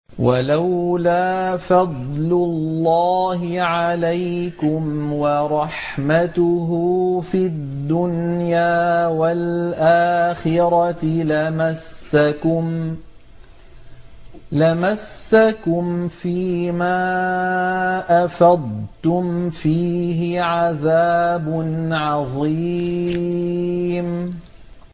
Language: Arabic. وَلَوْلَا فَضْلُ اللَّهِ عَلَيْكُمْ وَرَحْمَتُهُ فِي الدُّنْيَا وَالْآخِرَةِ لَمَسَّكُمْ فِي مَا أَفَضْتُمْ فِيهِ عَذَابٌ عَظِيمٌ